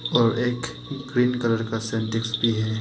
और एक green colour का सिंटेक्स भी है।